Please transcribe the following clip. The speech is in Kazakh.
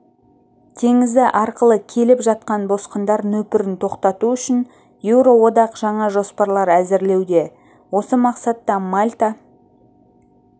теңізі арқылы келіп жатқан босқындар нөпірін тоқтату үшін еуроодақ жаңа жоспарлар әзірлеуде осы мақсатта мальта